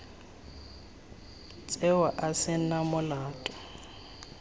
tsewa a se na molato